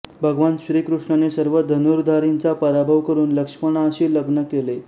भगवान श्रीकृष्णाने सर्व धनुर्धारींचा पराभव करून लक्ष्मणाशी लग्न केले